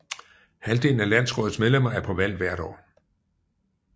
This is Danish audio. Halvdelen af landsrådets medlemmer er på valg hvert år